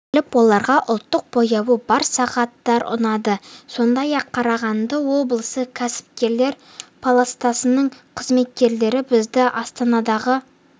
келіп оларға ұлттық бояуы бар сағаттар ұнады сондай-ақ қарағанды облысы кәсіпкерлер палатасының қызметкерлері бізді астанадағы